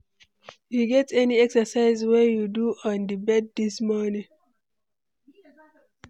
You get any exercise wey you do on di bed dis morning?